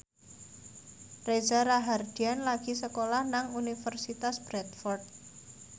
Reza Rahardian lagi sekolah nang Universitas Bradford